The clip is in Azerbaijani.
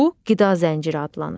Bu qida zənciri adlanır.